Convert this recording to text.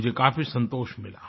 मुझे काफी संतोष मिला